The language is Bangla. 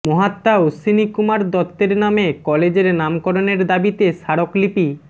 মহাত্মা অশ্বিনী কুমার দত্তের নামে কলেজের নামকরণের দাবিতে স্মারকলিপি